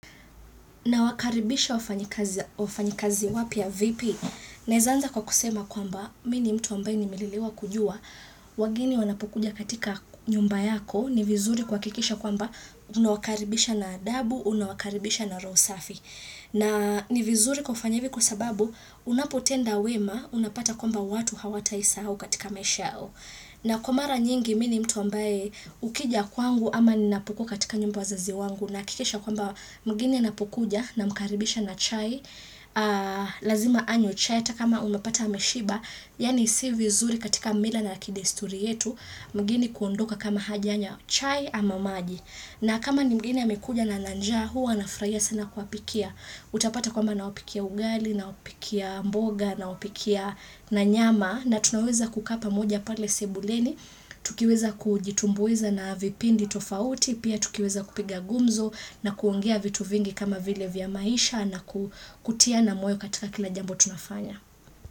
Na wakaribisha wafanyikazi wapya vipi? Naeza anza kwa kusema kwamba mi ni mtu ambae nimelelewa kujua wageni wanapokuja katika nyumba yako ni vizuri kuhakikisha kwamba unawakaribisha na adabu unawakaribisha na roho safi. Na ni vizuri kufanya hivi kwa sababu unapotenda wema unapata kwamba watu hawatai sahau katika maisha yao. Na kwabmara nyingi mini mtu ambaye ukija kwangu ama ninapo kuwa katika nyumba wazazi wangu na kikesha kwamba mgini anapokuja na mkaribisha na chai, lazima anywe chai atakama umapata ameshiba, yaani si vizuri katika mila na kidesituri yetu, mgeni kuondoka kama hajanya chai ama maji. Na kama ni mgeni amekuja na ana njaa, huwa nafraia sana kuapikia. Utapata kwamba nawapikia ugali, nawapikia mboga, nawapikia na nyama. Na tunaweza kukaa pamoja pale sebuleni, tukiweza kujitumbuiza na vipindi tofauti, pia tukiweza kupiga gumzo na kuongea vitu vingi kama vile vya maisha na kutia na moyo katika kila jambo tunafanya.